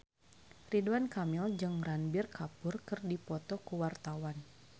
Ridwan Kamil jeung Ranbir Kapoor keur dipoto ku wartawan